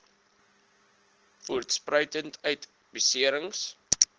voortspruitend uit beserings